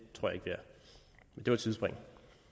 var et sidespring